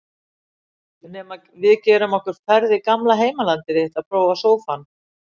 Nema við gerum okkur ferð í gamla heimalandið þitt að prófa sófann.